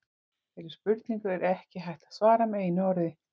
Þeirri spurningu er ekki hægt að svara með einu orði.